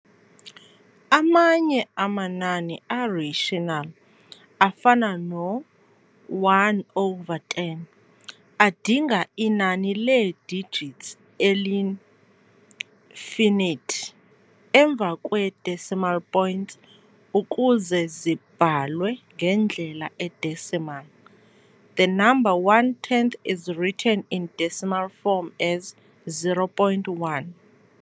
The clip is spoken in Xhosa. Amanye amanani a-rational, afana no-1 over 10, adinga inani lee-digits eli-finite, emva kwe-decimal point ukuze zibhalwe ngendlela e-decimal. The number one tenth is written in decimal form as 0.1.